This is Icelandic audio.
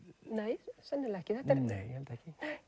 nei sennilega ekki nei ég held ekki